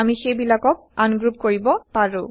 আমি সেইবিলাকক আনগ্ৰুপ কৰিব পাৰো